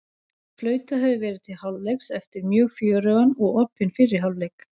Flautað hefur verið til hálfleiks eftir mjög fjörugan og opinn fyrri hálfleik!